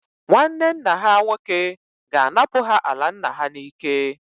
Nwanne nna ha nwoke ga-anapụ ha ala nna ha n'ike.